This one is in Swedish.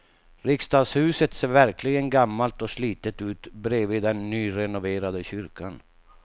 Riksdagshuset ser verkligen gammalt och slitet ut bredvid den nyrenoverade kyrkan.